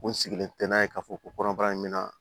N sigilen tɛ n'a ye k'a fɔ ko kɔnɔbara in bɛ na